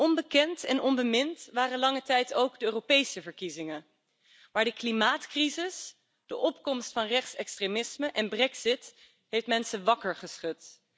Onbekend en onbemind waren lange tijd ook de Europese verkiezingen, maar de klimaatcrisis, de opkomst van rechts extremisme en de brexit hebben mensen wakker geschud.